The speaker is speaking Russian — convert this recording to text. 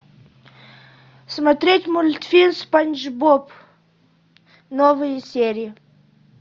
смотреть мультфильм спанч боб новые серии